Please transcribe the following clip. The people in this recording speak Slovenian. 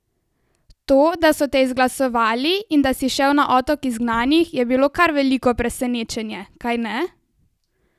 To, da so te izglasovali in da si šel na otok izgnanih, je bilo kar veliko presenečenje, kajne?